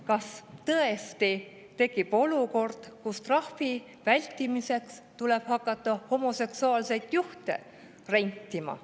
Kas tõesti tekib olukord, kus trahvi vältimiseks tuleb hakata homoseksuaalseid juhte rentima?